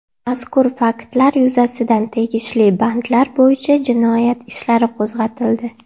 Mazkur faktlar yuzasidan tegishli bandlar bo‘yicha jinoyat ishlari qo‘zg‘atildi.